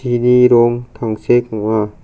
rong tangsek ong·a.